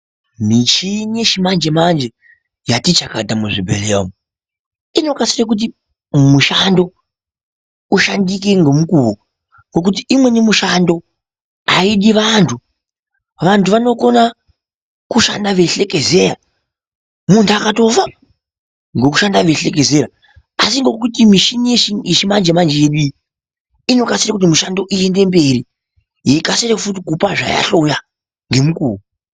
Michini yechimanje-manje yati chakata muzvibhedhleya umu. Inokasire kuti mushando ushandike ngemukuwo, ngokuti umweni mushando haidi vantu. Vantu vanokona kushanda veihlekezeya, muntu akatofa vantu ngokushanda veihlekezeya, asi ngokuti mishini yechimanje-manje yedu iyi, inokasire kuti mushando iende mberi. Yeikasire futi kupa zvayahloya ngemukuwo.